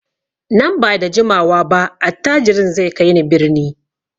Nan ba da jimawa ba attajirin zai kai ni birni.